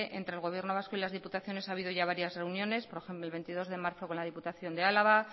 entre el gobierno vasco y las diputaciones ha habido ya varias reuniones por ejemplo el veintidós de marzo con la diputación de álava